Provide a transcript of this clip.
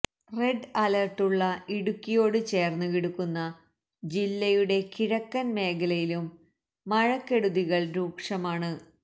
red അലേര്ട്ടുള്ള ഇടുക്കിയോട് ചേര്ന്നുകിടക്കുന്ന ജില്ലയുടെ കിഴക്കന് മേഖലയിലും മഴക്കെടുതികള് രൂക്ഷമാണ്